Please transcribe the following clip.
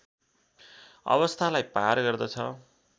अवस्थालाई पार गर्दछ